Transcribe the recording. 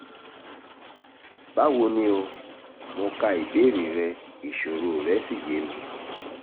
báwo ni o? mo ka ìbéèrè rẹ ìṣòro rẹ́ sì yé mi